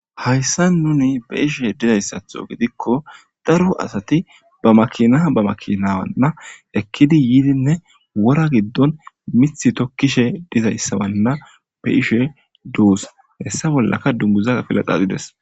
Haysan nun be'ishe dizaysato gidiko daro asati ba makina ba makina ekidi yidinne wora gidon mithi tokishe dizaysawana be'ishe dos heysa bolaka dunguza afila dhadhides.